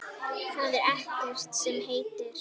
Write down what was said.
Það er ekkert sem heitir!